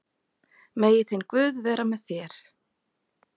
Megi þinn guð vera með þér.